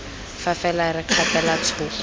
fa fela re kgapela thoko